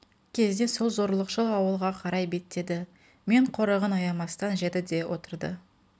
кезде сол зорлықшыл ауылға қарай беттеді мен қорығын аямастан жеді де отырды